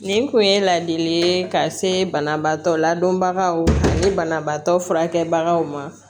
Nin kun ye ladili ye ka se banabaatɔ ladɔnbagaw ni banabaatɔ furakɛbagaw ma